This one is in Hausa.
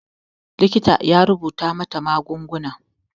Likitan ya rubuta mata magunguna